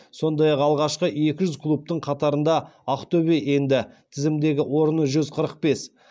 сондай ақ алғашқы екі жүз клубтың қатарына ақтөбе енді тізімдегі орны жүз қырық бес